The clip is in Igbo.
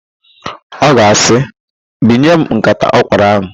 Ọ ga-asị, "bunye m nkata ọkwụrụ ahụ"!